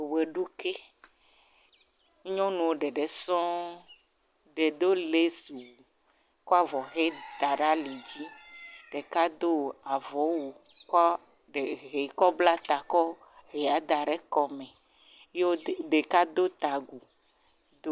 Wɔeɖuki. Nyɔnuwo ɖeɖe sɔŋ. Ɖe do lesiwu kɔ avɔ ʋe ta ɖe ali dzi. Ɖeka do avɔ wu kɔ ɖe ʋee kɔbla ta kɔ ʋea da ɖe kɔme. Yewo ɖeka do ta agu